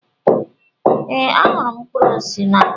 Ee, ahụrụ m mkpụrụ osisi n'anya